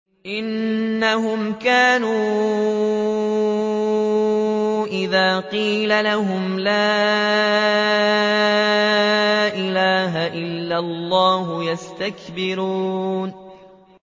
إِنَّهُمْ كَانُوا إِذَا قِيلَ لَهُمْ لَا إِلَٰهَ إِلَّا اللَّهُ يَسْتَكْبِرُونَ